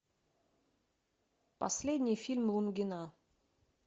последний фильм лунгина